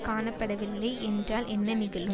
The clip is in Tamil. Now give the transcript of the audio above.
காணப்படவில்லை என்றால் என்ன நிகழும்